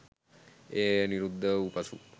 එය නිරුද්ධ වූ පසුව